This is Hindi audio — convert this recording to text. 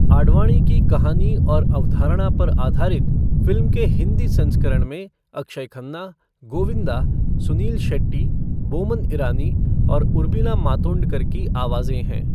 आडवाणी की कहानी और अवधारणा पर आधारित, फ़िल्म के हिंदी संस्करण में अक्षय खन्ना, गोविंदा, सुनील शेट्टी, बोमन ईरानी और उर्मिला मातोंडकर की आवाजें हैं।